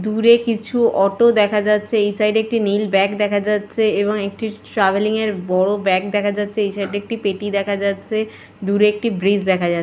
দূরে কিছু অটো দেখা যাচ্ছে এই সাইড এ একটি নীল ব্যাগ দেখা যাচ্ছে এবং একটি ট্রাভেলিং -এর বড় ব্যাগ দেখা যাচ্ছে এই সাইড এ একটি পেটি দেখা যাচ্ছে দূরে একটি ব্রীজ দেখা যাচ্ছে।